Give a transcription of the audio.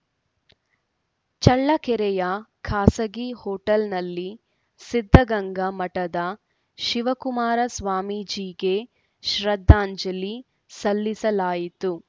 ಚಳ್ಳಕೆರೆಯ ಖಾಸಗಿ ಹೋಟೆಲ್‌ನಲ್ಲಿ ಸಿದ್ದಗಂಗ ಮಠದ ಶಿವಕುಮಾರ ಸ್ವಾಮೀಜಿಗೆ ಶ್ರದ್ಧಾಂಜಲಿ ಸಲ್ಲಿಸಲಾಯಿತು